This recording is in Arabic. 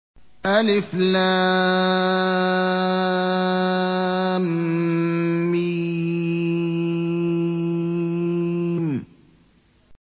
الم